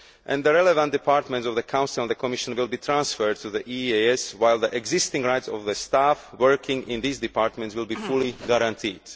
The relevant departments of the Council and the Commission will be transferred to the EEAS, while the existing rights of the staff working in these departments will be fully guaranteed.